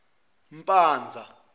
mpanza